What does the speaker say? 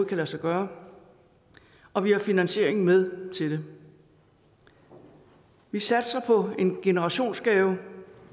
kan lade sig gøre og vi har finansieringen med til det vi satser på en generationsgave